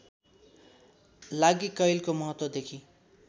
लागि कैलको महत्त्वदेखि